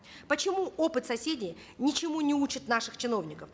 почему опыт соседей ничему не учит наших чиновников